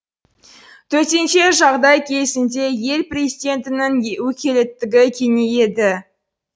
төтенше жағдай кезінде ел президентінің өкілеттігі кеңейеді